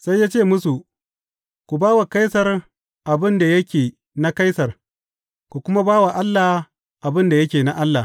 Sai ya ce musu, Ku ba wa Kaisar abin da yake na Kaisar, ku kuma ba wa Allah abin da yake na Allah.